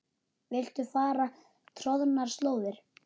Viltu fara troðnar slóðir?